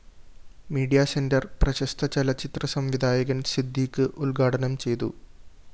media centre പ്രശസ്ത ചലച്ചിത്ര സംവിധായകന്‍ സിദ്ദിഖ് ഉദ്ഘാടനം ചെയ്തു